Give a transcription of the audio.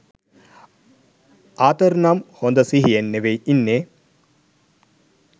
ආතර්නම් හොද සිහියෙන් නෙවෙයි ඉන්නේ.